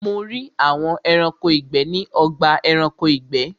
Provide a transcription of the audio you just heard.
Mo rí àwọn Ẹranko ìgbẹ́ ní ọgbà Ẹranko ìgbẹ́